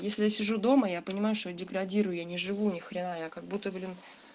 если я сижу дома я понимаю что я деградирую я не живу ни хрена я как будто блин